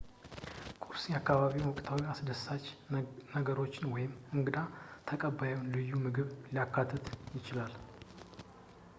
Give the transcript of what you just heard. ቁርስ የአካባቢውን ወቅታዊ አስደሳች ነገሮች ወይም የእንግዳ ተቀባዩን ልዩ ምግብ ሊያካትት ይችላል